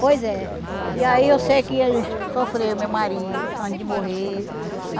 Pois é. E aí eu sei que ele sofreu, meu marido, antes de morrer.